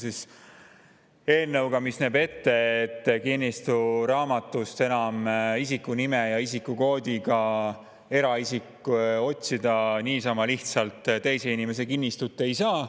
Tegemist on eelnõuga, mis näeb ette, et kinnistusraamatust enam eraisik isiku nime ja isikukoodi abil niisama lihtsalt teise inimese kinnistut otsida ei saa.